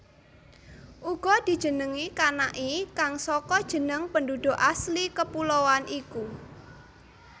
Uga dijenengi Kanaki kang saka jeneng penduduk asli kepuloan iku